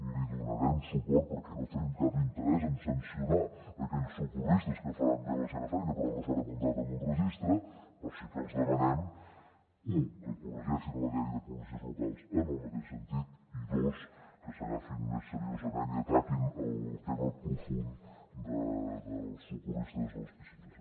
li donarem suport perquè no tenim cap interès en sancionar aquells socorristes que faran bé la seva feina però que no s’han apuntat en un registre però sí que els demanem u que corregeixin la llei de policies locals en el mateix sentit i dos que s’agafin més seriosament i ataquin el tema profund dels socorristes de les piscines